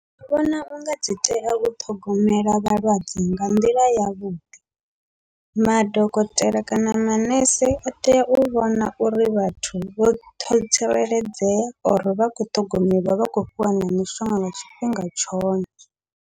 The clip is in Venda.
Ndi vhona unga dzi tea u ṱhogomela vhalwadze nga nḓila yavhuḓi, madokotela kana manese a tea u vhona uri vhathu vho ṱho vho tsireledzea or vha kho ṱhogomeliwa vha khou fhiwa na mishonga nga tshifhinga tshone.